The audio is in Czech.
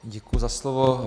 Děkuji za slovo.